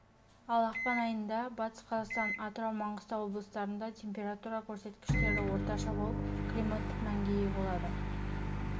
ал ақпан айында батыс қазақстан атырау маңғыстау облыстарында температура көрсеткіштері орташа болып климаттық мәнге ие болады